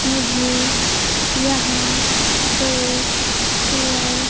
मुझे यहां दो चेयर --